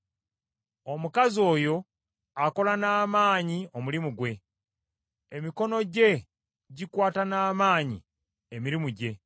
Omukazi oyo akola n’amaanyi omulimu gwe, emikono gye gikwata n’amaanyi emirimu gye.